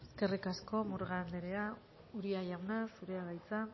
eskerrik asko murga anderea uria jauna zurea da hitza